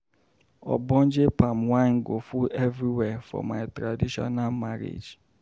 Ogbonge palm wine go full everywhere for my traditional marriage.